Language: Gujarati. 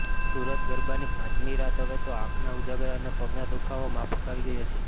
સુરતઃ ગરબાની પાંચમી રાત હવે તો આંખના ઉજાગરા અને પગનો દુઃખાવો માફક આવી ગયો છે